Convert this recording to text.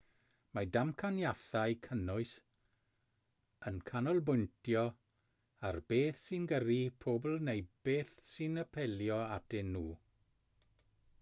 mae damcaniaethau cynnwys yn canolbwyntio ar beth sy'n gyrru pobl neu beth sy'n apelio atyn nhw